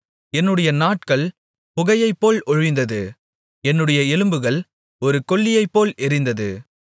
என்னுடைய நாட்கள் புகையைப்போல் ஒழிந்தது என்னுடைய எலும்புகள் ஒரு கொள்ளியைப்போல் எரிந்தது